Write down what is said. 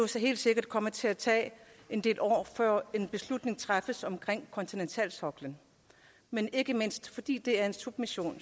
så helt sikkert komme til at tage en del år før en beslutning træffes omkring kontinentalsoklen men ikke mindst fordi det er en submission